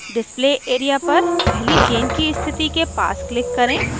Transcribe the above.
display area पर पहली chain की स्थिति के पास click करें